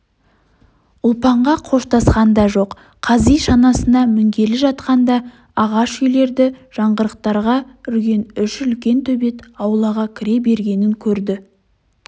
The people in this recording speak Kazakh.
ұлпанға қоштасқан да жоқ қази шанасына мінгелі жатқанда ағаш үйлерді жаңғырықтыра үрген үш үлкен төбет аулаға кіре бергенін көрді